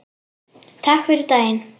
Takk fyrir daginn.